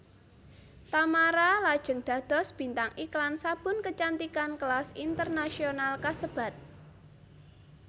Tamara lajeng dados bintang iklan sabun kecantikan kelas internasional kasebat